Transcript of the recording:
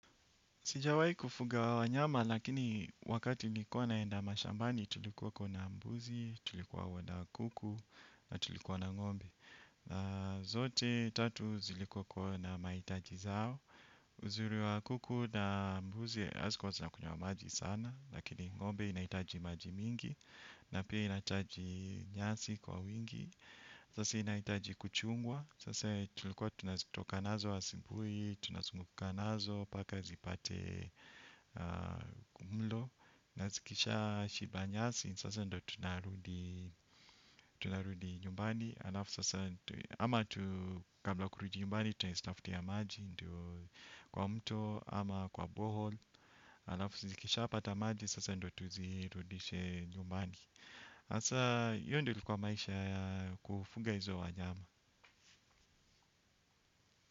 Sijawai kufuga wanyama, lakini wakati nikuwa naenda mashambani, tulikuwako na mbuzi, tulikuwa na kuku, na tulikuwa na ngombe. Na zote, tatu zilikuwa kuwa na maitaji zao. Uzuri wa kuku na mbuzi, hazikuwa zinakunywa maji sana, lakini ngombe inaitaji maji mingi, na pia inaitaji nyasi kwa wingi. Sasa inaitaji kuchungwa. Sasa tulikuwa tunazitoka nazoa asubui. Tunazunguka nazo paka zipate mlo. Na zikisha shiba nyasi sasa ndo tunarudi nyumbani. Alafu sasa ama tu kabla ya kurudi nyumbani tunazitafutia maji. Kwa mto ama kwa borehole. Alafu zikisha pata maji sasa ndo tuzirudishe nyumbani. Asa iyo ndio ilikuwa maisha kufuga izo wanyama.